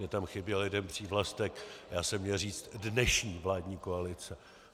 Mně tam chybě jeden přívlastek - já jsem měl říct dnešní vládní koalice.